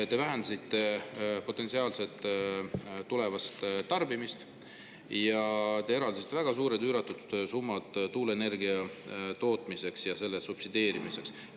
Te vähendaksite potentsiaalset tulevast tarbimist ning eraldaksite üüratud summad tuuleenergia tootmiseks ja selle subsideerimiseks.